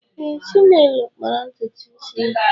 Ee, Chinelo kpara ntutu isi ya.